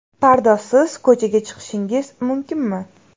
Pardozsiz ko‘chaga chiqishingiz mumkinmi?